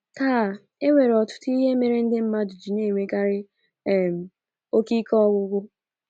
Taa, e nwere ọtụtụ ihe mere ndị mmadụ ji na - enwekarị um oke ike ọgwụgwụ.